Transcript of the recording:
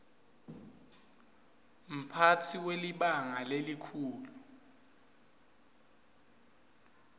mphatsi welibhangi lelikhulu